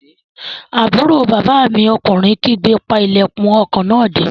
Àbúrò bàbá mi ọkùnrin kígbe, "pa ilẹ̀kùn ọkọ̀ náà dé!"